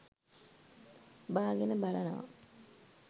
බාගෙන බලනවා